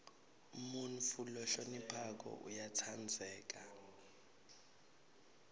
umuntfu lohloniphako uyatsandzeka